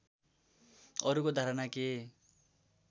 अरूको धारणा के